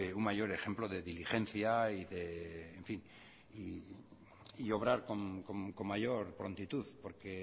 un mayor ejemplo de diligencia y obrar con mayor prontitud porque